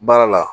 Baara la